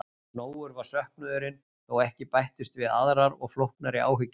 Nógur var söknuðurinn þó ekki bættust við aðrar og flóknari áhyggjur.